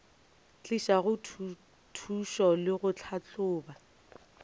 tliša thušo le go tlhahloba